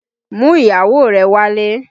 Mú ìyàwó rẹ̀ wálé!